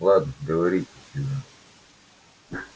ладно говорите сьюзен